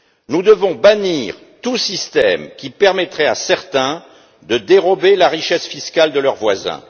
Nous devons bannir tout système qui permettrait à certains de dérober la richesse fiscale de leurs voisins.